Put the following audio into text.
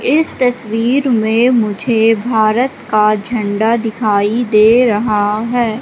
इस तस्वीर में मुझे भारत का झंडा दिखाई दे रहा है।